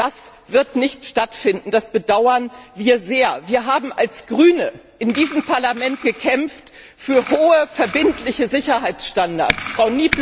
Das wird nicht stattfinden, das bedauern wir sehr. Wir haben als Grüne in diesem Parlament für hohe verbindliche Sicherheitsstandards gekämpft.